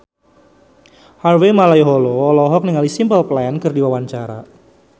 Harvey Malaiholo olohok ningali Simple Plan keur diwawancara